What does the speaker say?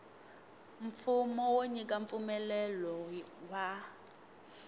mfumo wo nyika mpfumelelo wa